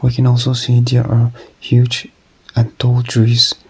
we can also there are huge a tall trees.